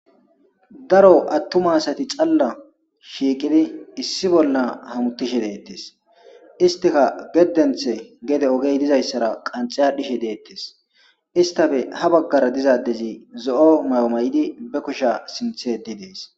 Daro attuma asati xalla shiqidi issi bolla gididi hamuttishe deetes.istikagedeththa oge qanxxi aadhidi hamuttishe deettes.izetappe issi addezi ba kushe sinthe aathidi dees.